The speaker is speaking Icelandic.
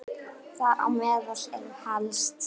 Þar á meðal eru helst